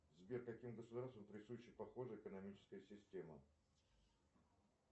сбер каким государствам присуща похожая экономическая система